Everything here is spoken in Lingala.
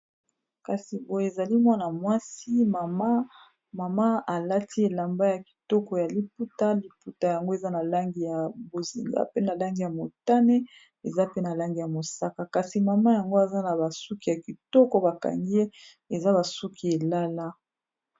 kasi boye ezali mwana mwasi mama alati elamba ya kitoko ya liputa liputa yango eza na langi ya bozinga pe na langi ya motane eza pe na langi ya mosaka kasi mama yango aza na basuki ya kitoko bakangi ye eza basuki elala